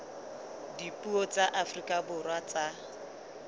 dipuo tsa afrika borwa tsa